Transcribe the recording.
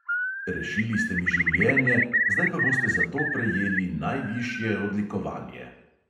"Rešili ste mi življenje, zdaj pa boste za to prejeli najvišje odlikovanje."